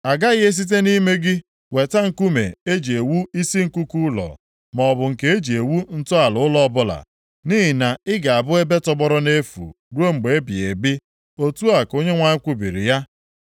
A gaghị esite nʼime gị weta nkume e ji ewu isi nkuku ụlọ, maọbụ nke e ji ewu ntọala ụlọ ọbụla, nʼihi na ị ga-abụ ebe tọgbọrọ nʼefu ruo mgbe ebighị ebi,” otu a ka Onyenwe anyị kwubiri ya.